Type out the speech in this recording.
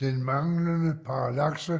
Den manglende parallakse